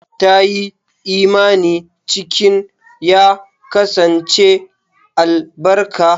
Ta yi imani cikin ya kasance albarka.